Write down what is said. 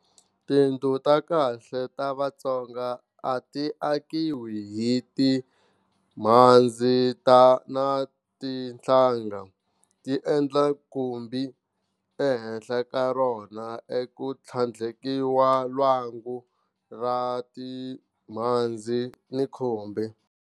Tindlu ta khale ta Vatsonga a ti akiwi hi timhandzi na tinhlanga, ti endla khumbi. Ehenhla ka rona e ku tlhandlekiwa lwangu ra timhandzi ni khumbi.